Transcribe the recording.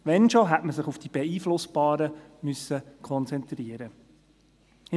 Wenn schon, dann hätte man sich auf die beeinflussbaren konzentrieren müssen.